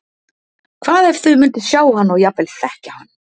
Hvað ef þau myndu sjá hann og jafnvel þekkja hann?